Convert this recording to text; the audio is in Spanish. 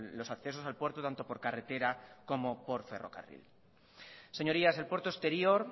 los accesos al puerto tanto por carretera como por ferrocarril señorías el puerto exterior